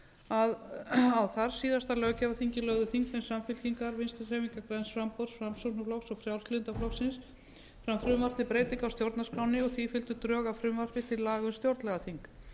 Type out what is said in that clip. að á þar síðasta löggjafarþingi lögðu þingmenn samfylkingarinnar vinstri hreyfingarinnar græns framboðs framsóknarflokks og frjálslynda flokksins fram frumvarp til breytinga á stjórnarskránni og því fylgdu drög að frumvarpi til laga um stjórnlagaþing